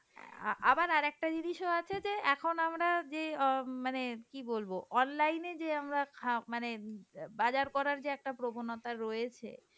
অ্যাঁ আবার আরেকটা জিনিসও আছে এখন আমরা যে অ্যাঁ মানে কি বলব online এ যে আমরা যে অ্যাঁ মানে বাজার করার জায়গা প্রবণতা রয়েছে,